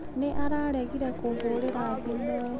Nĩ araregire kũhũrĩra thimũ.